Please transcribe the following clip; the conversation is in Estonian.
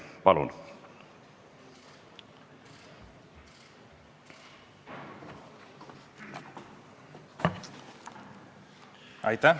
Palun!